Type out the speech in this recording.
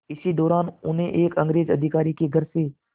इसी दौरान उन्हें एक अंग्रेज़ अधिकारी के घर से